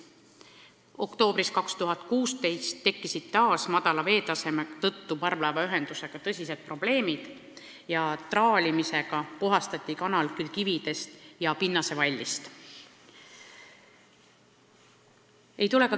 Oktoobris 2016 tekkisid taas madala veetaseme tõttu parvlaevaühendusega tõsised probleemid ja traalimisega puhastati kanal kividest ja pinnasevallist.